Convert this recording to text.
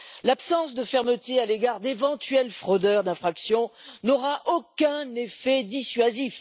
L'absence de fermeté à l'égard d'éventuels auteurs d'infraction n'aura aucun effet dissuasif.